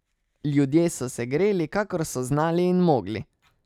Ljudje so se greli, kakor so znali in mogli.